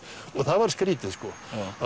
og það var skrýtið sko